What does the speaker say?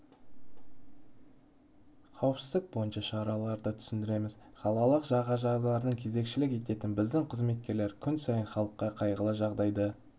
қауіпсіздік бойынша шараларды түсіндіреміз қалалық жағажайларда кезекшілік ететін біздің қызметкерлер күн сайын халыққа қайғылы жағдайды